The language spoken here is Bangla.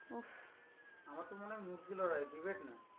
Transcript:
আমার তো মনে হয়ে মুরগি লড়াই, debate নয়।